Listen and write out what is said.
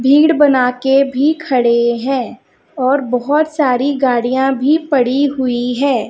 भीड़ बना के भी खड़े हैं और बोहोत सारी गाड़ियां भी पड़ी हुई हैं।